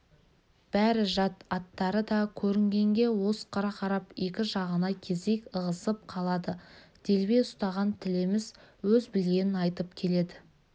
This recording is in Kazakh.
бәрі жат аттары да көрінгенге осқыра қарап екі жағына кезек ығысып қалады делбе ұстаған тілеміс өз білгенін айтып келеді